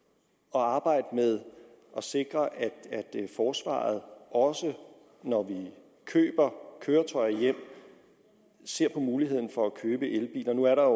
at arbejde med at sikre at forsvaret også når vi køber køretøjer hjem ser på muligheden for at købe elbiler nu er der